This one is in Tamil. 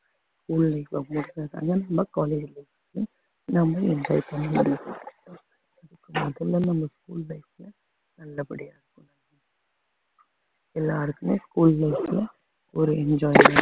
நம்ம enjoy பண்ண முடியும் நல்லபடியா எல்லாருக்குமே school life ல ஒரு enjoyment